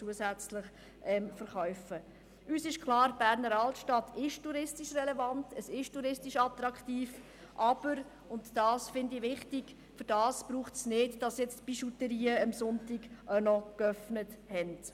Uns ist klar, dass die Berner Altstadt touristisch relevant und attraktiv ist, aber – und das erscheint mir wichtig – dafür müssen die Bijouterien am Sonntag nicht auch geöffnet sein.